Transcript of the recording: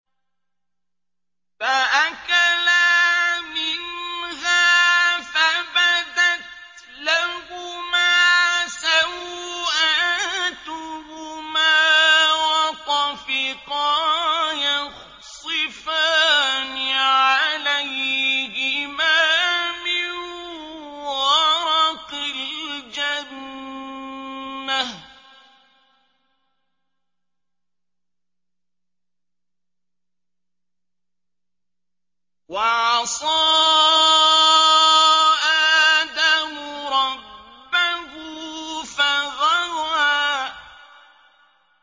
فَأَكَلَا مِنْهَا فَبَدَتْ لَهُمَا سَوْآتُهُمَا وَطَفِقَا يَخْصِفَانِ عَلَيْهِمَا مِن وَرَقِ الْجَنَّةِ ۚ وَعَصَىٰ آدَمُ رَبَّهُ فَغَوَىٰ